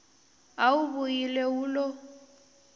a wu vuyile wu lo